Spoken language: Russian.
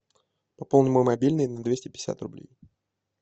пополни мой мобильный на двести пятьдесят рублей